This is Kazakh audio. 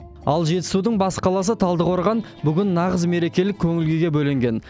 ал жетісудың бас қаласы талдықорған бүгін нағыз мерекелік көңіл күйге бөленген